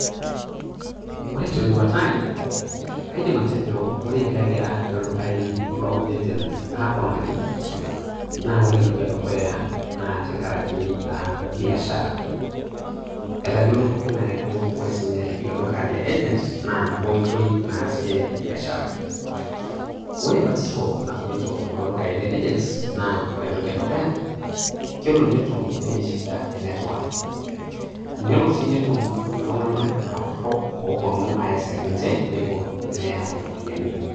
Ore teduata ai, kaidim atejo ore pegira ildukai le agents aponari, na ore entoki edukuya na tenkaraki ah biashara. Etayiolo pooking'ae ajo ore sinye iloduka le agents, na nabo oitoi naasie biashara. Ore batisho natumito kulo dukai le agents ,na ore entoki edukuya, ketumito ninche shida enetwak. Elo si netum iltung'anak apurrok, oponu aesek ninche nepur neya iropiyiani.